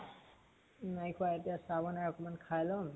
নাই খোৱা। এতিয়া চাহ বনাই অকমান খাই লম।